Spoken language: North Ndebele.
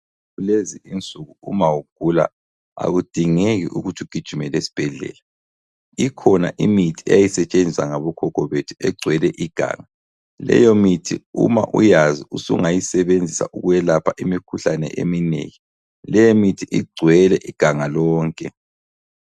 Lezi insuku uma ugula akudingeki ukuthi ugijimele esbhedlela ikhona imithi eyayisetshenziswa ngabokhokho bethu egcwele iganga, leyo mithi Uma uyazi usungayisebenzisa ukwelapha imikhuhlane eminengi. Leyi mithi igcwele iganga lonke.